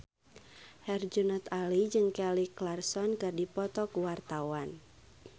Herjunot Ali jeung Kelly Clarkson keur dipoto ku wartawan